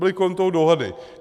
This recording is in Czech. Byly kolem toho dohady.